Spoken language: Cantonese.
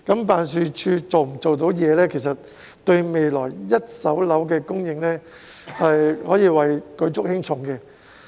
辦事處的工作表現，對未來一手樓的供應可謂舉足輕重。